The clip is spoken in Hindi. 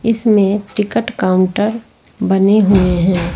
इसमें टिकट काउंटर बने हुए हैं।